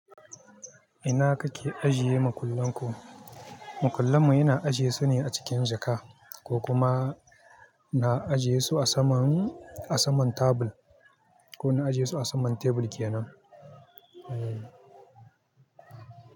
Ina kake ajiye makullan ku? Makullan mu yana ajiye su ne a cikin jaka, ko kuma na ajiye su a saman, a saman table ko na ajiye su a saman tebur kenan. Eeh.